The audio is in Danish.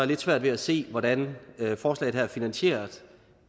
lidt svært ved at se hvordan forslaget her finansieres